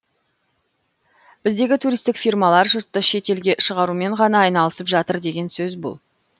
біздегі туристтік фирмалар жұртты шет елге шығарумен ғана айналысып жатыр деген сөз бұл